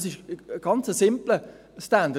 Das ist ein ganz simpler Standard.